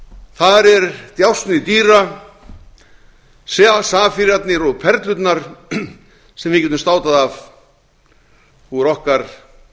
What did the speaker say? þar er djásnið dýra safírarnir og perlurnar sem við getum státað af úr okkar